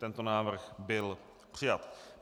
Tento návrh byl přijat.